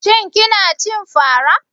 Shin kina cin fara?